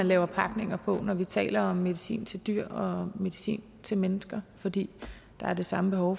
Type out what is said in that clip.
lave pakninger på når vi taler om medicin til dyr og medicin til mennesker fordi der er det samme behov